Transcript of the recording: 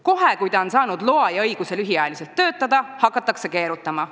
Kohe, kui ta on saanud loa ja õiguse lühiajaliselt töötada, hakatakse keerutama.